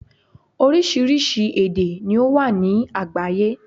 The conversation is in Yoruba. Orísirísi èdè ni ó wà ní àgbáyé